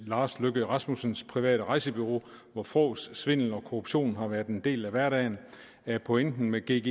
lars løkke rasmussens private rejsebureau hvor fråds svindel og korruption har været en del af hverdagen er pointen med gggi